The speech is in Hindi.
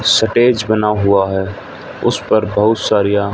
स्टेज बना हुआ है उस पर बहुत सारीया--